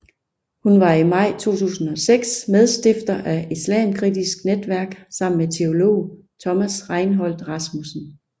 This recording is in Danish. Hun var i maj 2006 medstifter af Islamkritisk Netværk sammen med teolog Thomas Reinholdt Rasmussen